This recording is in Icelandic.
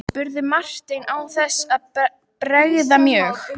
spurði Marteinn án þess að bregða mjög.